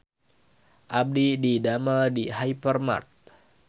Abdi didamel di Hypermart